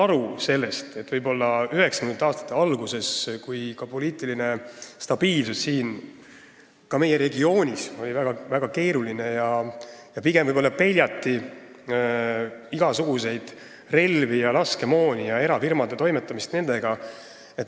1990. aastate alguses oli meie regioonis poliitilise stabiilsusega väga keeruline lugu, pigem peljati igasuguseid relvi ja laskemoona ning erafirmade toimetamist nendega.